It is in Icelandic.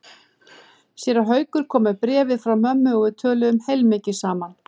Séra Haukur kom með bréfið frá mömmu og við töluðum heilmikið saman.